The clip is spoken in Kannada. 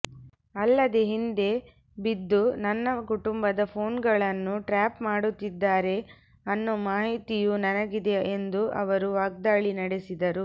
ಅಲ್ಲದೆ ಹಿಂದೆ ಬಿದ್ದು ನನ್ನ ಕುಟುಂಬದ ಫೋನ್ಗಳನ್ನು ಟ್ರ್ಯಾಪ್ ಮಾಡುತ್ತಿದ್ದಾರೆ ಅನ್ನೋ ಮಾಹಿತಿಯೂ ನನಗಿದೆ ಎಂದು ಅವರು ವಾಗ್ದಾಳಿ ನಡೆಸಿದರು